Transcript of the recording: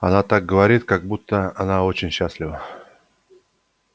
она так говорит как будто она очень счастлива